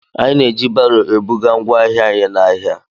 Anyị na-eji baro ebuga ngwa ahịa anyị n'ahia.